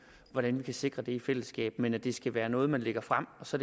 hvordan vi kan sikre det i fællesskab men at det skal være noget man lægger frem og så